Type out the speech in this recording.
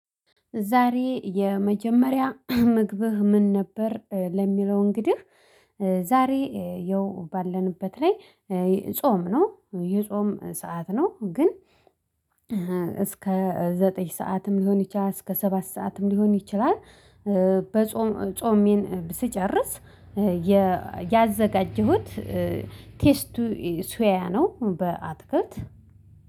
ዛሬ የመጀመሪያ ምግብህ ምን ነበር? ለሚለው እንግዲህ። ዛሬ ያው ባለንበት ላይ ጾም ነው የጾም ሰዓት ነው። ግን እስከ ዘጠኝ ሰዓትም ሊሆን ይችላል። እስከ ሰባት ሰዓትም ሊሆን ይችላል። በጾም ጾሜን ስጨርስ ያዘጋጀሁት ቴስቱሶዎያ ነው። በአጥክልት